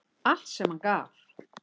Allt sem hann gaf.